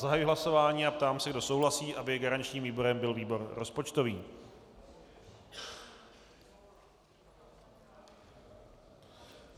Zahajuji hlasování a ptám se, kdo souhlasí, aby garančním výborem byl výbor rozpočtový.